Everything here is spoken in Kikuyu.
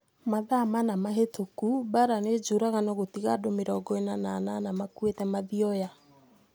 Mathaa mana mahĩtũku Mbaara nĩ njũragano gũtiga andũ mĩrongo ina na inana makuĩte Mathioya